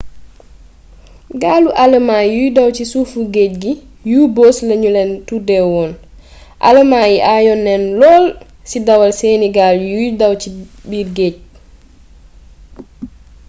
gaalu alëmaa yuy daw ci suufu géej gi u-boats lanu leen tuddeewoon alëmaa yi ayoon nanu lool ci dawal seeni gaal yuy daw c biir géej